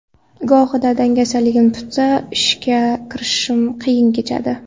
Gohida dangasaligim tutsa, ishga kirishishim qiyin kechadi.